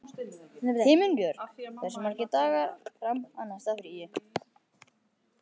Himinbjörg, hversu margir dagar fram að næsta fríi?